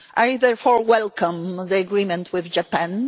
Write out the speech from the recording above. I therefore welcome the agreement with Japan.